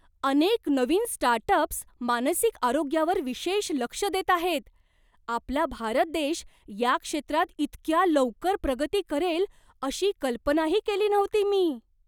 अनेक नवीन स्टार्टअप्स मानसिक आरोग्यावर विशेष लक्ष देत आहेत! आपला भारत देश या क्षेत्रात इतक्या लवकर प्रगती करेल अशी कल्पनाही केली नव्हती मी.